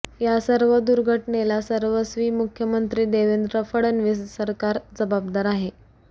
यासर्व दुर्घटनेला सर्वस्वी मुख्यमंत्री देवेंद्र फडणवीस सरकार जबाबदार आहे